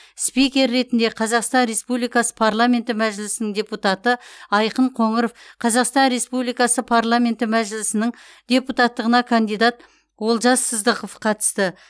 спикер ретінде қазақстан республикасы парламенті мәжілісінің депутаты айқын қоңыров қазақстан республикасы парламенті мәжілісінің депутаттығына кандидат олжас сыздықов қатысты